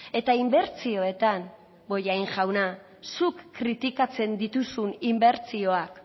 eta inbertsioetan bollain jauna zuk kritikatzen dituzun inbertsioak